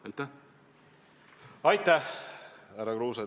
Aitäh, härra Kruuse!